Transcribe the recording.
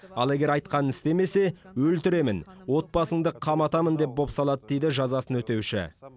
ал егер айтқанын істемесе өлтіремін отбасыңды қаматамын деп бопсалады дейді жазасын өтеуші